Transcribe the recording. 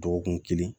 Dɔgɔkun kelen